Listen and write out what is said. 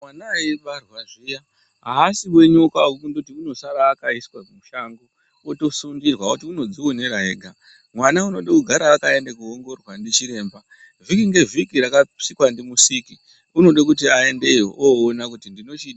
Mwana eibarwa zviya ,aasi wenyokapi wekundoti unosara akaiswa mushango wotosundirwa ,woti unodzionera ega .Mwanawo unoda kugara akaenda koongororwa ndichiremba .Vhiki ngevhiki rakasikwa ndimusiki unoda kuti ayendeyo aone kuti ndinochidini.